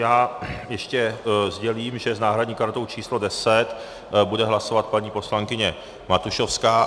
Já ještě sdělím, že s náhradní kartou číslo 10 bude hlasovat paní poslankyně Matušovská.